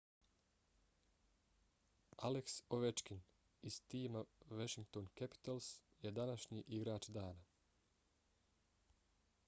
alex ovechkin iz tima washington capitals je današnji igrač dana